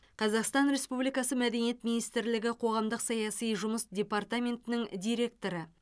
қазақстан республикасы мәдениет министрлігі қоғамдық саяси жұмыс департаментінің директоры